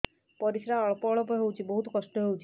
ପରିଶ୍ରା ଅଳ୍ପ ଅଳ୍ପ ହଉଚି ବହୁତ କଷ୍ଟ ହଉଚି